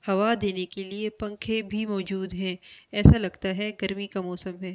हवा देने के लिए पंखे भी मौजूद हैं ऐसा लगता है गर्मी का मौसम है।